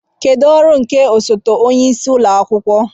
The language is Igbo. Kedu ọrụ nke osote onye isi ụlọ akwụkwọ